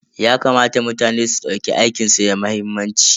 Yakamata mutane su dauki aikin su da muhimmanci.